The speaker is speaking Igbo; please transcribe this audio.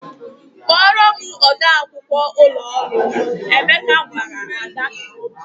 "Kpọọrọ m ode akwụkwọ ụlọ ọrụ m," Emeka gwara Ada.